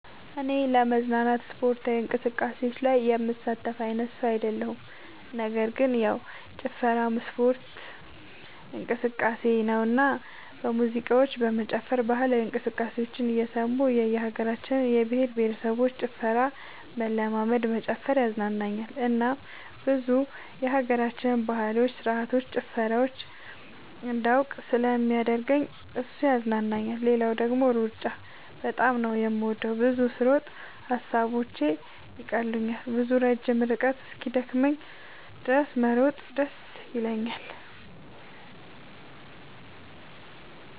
እኔ ለመዝናናት የስፖርት እንቅስቃሴዎች ላይ የምሳተፍ አይነት ሰው አይደለሁም ነገር ግን ያው ጭፈራም የስፖርት እንቅስቃሴ ነውና በሙዚቃዎች መጨፈር ባህላዊ ሙዚቃዎችን እየሰሙ የእየሀገራቸውን የእየብሄረሰቦችን ጭፈራ መለማመድ መጨፈር ያዝናናኛል እናም ብዙ የሀገራችንን ባህሎች ስርዓቶች ጭፈራዎቻቸውን እንዳውቅ ስለሚያደርገኝ እሱ ያዝናናኛል። ሌላው ደግሞ ሩጫ በጣም ነው የምወደው። ብዙ ስሮጥ ሐሳቦቼን ይቀሉልኛል። ብዙ ረጅም ርቀት እስኪደክመኝ ድረስ መሮጥ ደስ ይለኛል።